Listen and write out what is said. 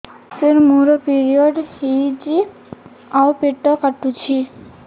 ସାର ମୋର ପିରିଅଡ଼ ହେଇଚି ଆଉ ପେଟ କାଟୁଛି